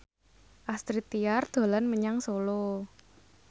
Astrid Tiar dolan menyang Solo